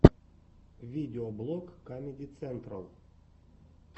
видеоблог камеди централ